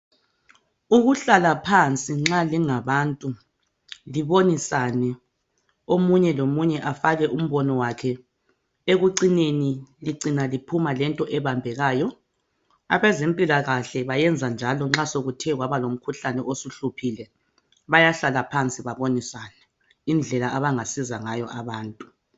Uhlala phansi nxa lingabantu libonisane omunye lomunye afake umbono wakhe ekucineni licina liphuma lento ebambekayo. Abezempilakahle beyenza njalo nxa sekuthe kwabalomkhuhlane osuhluphile bayahlala phansi babonisane indlela abangasiza ngayo abantu.